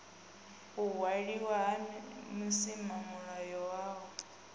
u waliwa ha vhusimamilayo hohe